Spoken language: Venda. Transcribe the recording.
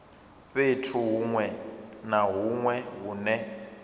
fhethu hunwe na hunwe hune